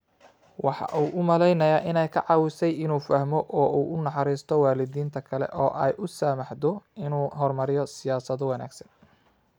Waxa uu u malaynayaa inay ka caawisay inuu fahmo oo uu u naxariisto waalidiinta kale oo ay u saamaxdo inuu horumariyo siyaasado wanaagsan.